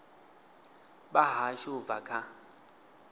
vha hashu u bva kha